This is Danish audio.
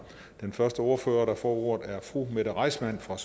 den første ordfører der får ordet er fru mette reissmann fra